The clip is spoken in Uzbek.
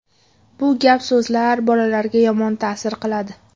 Bu gap-so‘zlar bolalarga yomon ta’sir qiladi.